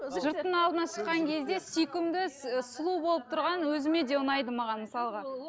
жұрттың алдына шыққан кезде сүйкімді сұлу болып тұрған өзіме де ұнайды маған мысалға